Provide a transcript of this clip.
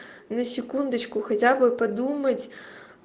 на секундочку хотя бы подумать